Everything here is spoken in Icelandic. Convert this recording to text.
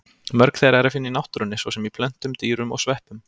Mörg þeirra er að finna í náttúrunni, svo sem í plöntum, dýrum og sveppum.